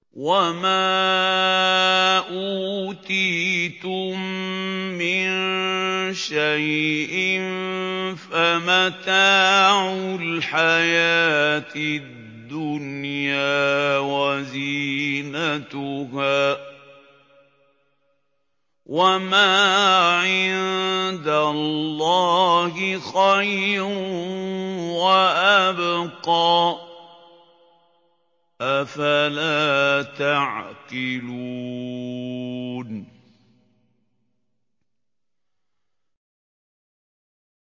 وَمَا أُوتِيتُم مِّن شَيْءٍ فَمَتَاعُ الْحَيَاةِ الدُّنْيَا وَزِينَتُهَا ۚ وَمَا عِندَ اللَّهِ خَيْرٌ وَأَبْقَىٰ ۚ أَفَلَا تَعْقِلُونَ